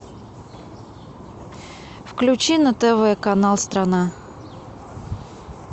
включи на тв канал страна